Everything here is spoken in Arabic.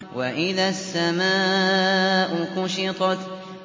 وَإِذَا السَّمَاءُ كُشِطَتْ